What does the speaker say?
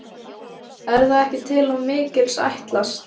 Er það ekki til of mikils ætlast?